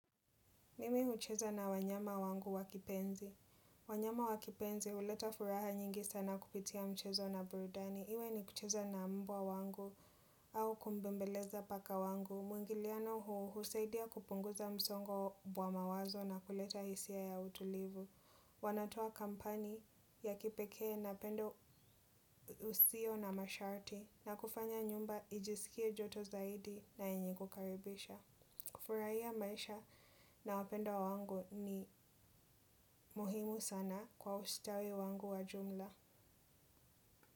Mimi ucheza na wanyama wangu wakipenzi. Wanyama wakipenzi, uleta furaha nyingi sana kupitia mchezo na burudani. Iwe ni kucheza na mbwa wangu au kumbembeleza paka wangu. Muingiliano huu, husaidia kupunguza msongo wa mawazo na kuleta hisia ya utulivu. Wanatoa kampani ya kipeke na pendo usio na masharti na kufanya nyumba ijisikie joto zaidi na enye kukaribisha. Kufurahia maisha nawapenda wangu ni muhimu sana kwa ustawi wangu wa jumla.